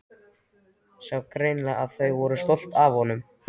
Sá greinilega að þau voru stolt af honum.